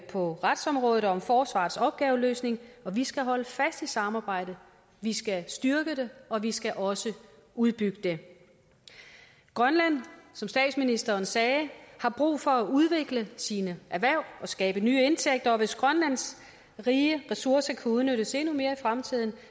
på retsområdet og om forsvarets opgaveløsning og vi skal holde fast i samarbejdet vi skal styrke det og vi skal også udbygge det grønland har som statsministeren sagde brug for at udvikle sine erhverv og skabe nye indtægter og hvis grønlands rige ressourcer kan udnyttes endnu mere i fremtiden